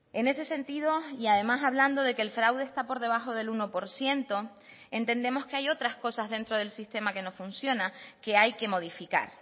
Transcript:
en ese sentido y además hablando de que el fraude está por debajo del uno por ciento entendemos que hay otras cosas dentro del sistema que no funciona que hay que modificar